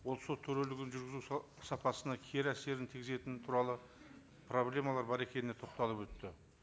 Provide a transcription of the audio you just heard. ол сот төрелігін жүргізу сапасына кері әсерін тигізетіні туралы проблемалар бар екеніне тоқталып өтті